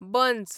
बंस